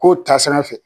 Kow ta sanfɛ